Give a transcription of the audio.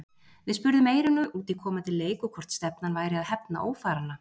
Við spurðum Eyrúnu út í komandi leik og hvort stefnan væri að hefna ófaranna?